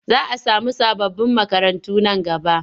Za a samu sababbin makarantu nan gaba.